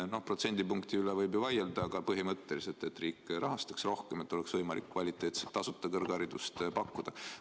Protsendipunkti üle võib ju vaielda, aga mõte on selles, et riik rahastaks rohkem, nii et oleks võimalik kvaliteetset tasuta kõrgharidust pakkuda.